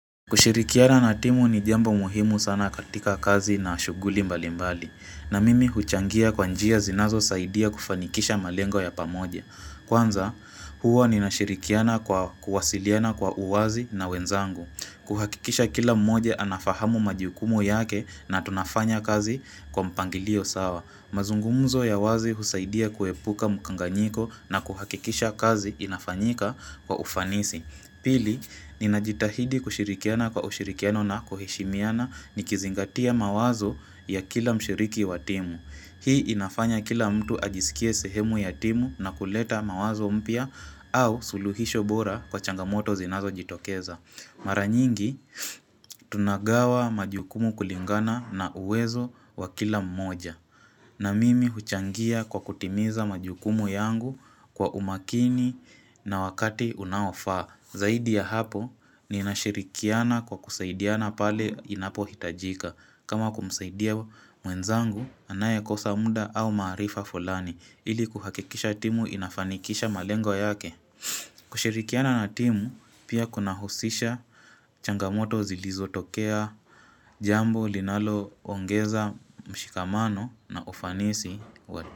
Kushirikiana na timu ni jambo muhimu sana katika kazi na shuguli mbalimbali. Na mimi huchangia kwa njia zinazo saidia kufanikisha malengo ya pamoja. Kwanza, hua ninashirikiana kwa kuwasiliana kwa uwazi na wenzangu. Kuhakikisha kila mmoja anafahamu majukumu yake na tunafanya kazi kwa mpangilio sawa. Mazungumuzo ya wazi husaidia kuhepuka mkanganyiko na kuhakikisha kazi inafanyika kwa ufanisi. Pili, ninajitahidi kushirikiana kwa ushirikiano na kuheshimiana nikizingatia mawazo ya kila mshiriki wa timu. Hii inafanya kila mtu ajisikie sehemu ya timu na kuleta mawazo mpya au suluhisho bora kwa changamoto zinazojitokeza. Maranyingi, tunagawa majukumu kulingana na uwezo wa kila mmoja. Na mimi huchangia kwa kutimiza majukumu yangu kwa umakini na wakati unaofaa. Zaidi ya hapo ninashirikiana kwa kusaidiana pale inapo hitajika. Kama kumsaidia mwenzangu anayekosa munda au maarifa fulani ili kuhakikisha timu inafanikisha malengo yake. Kushirikiana na timu pia kuna husisha changamoto zilizotokea jambo linalo ongeza mshikamano na ufanisi.